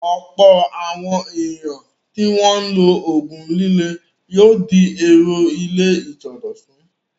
Ọ̀pọ̀ àwọn ènìyàn tí wọ́n ń lo òògùn líle yóò di èrò ilé ìsọdọ̀tun.